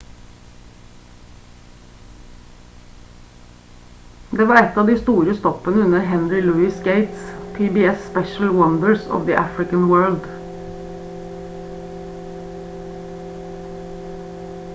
det var et av de store stoppene under henry louis gates' pbs-spesial wonders of the african world